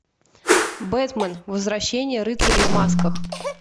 бэтмэн возвращение рыцарей в масках